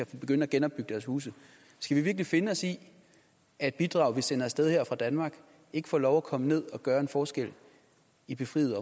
kan begynde at genopbygge deres huse skal vi virkelig finde os i at bidrag vi sender af sted her fra danmark ikke får lov at komme ned og gøre en forskel i befriede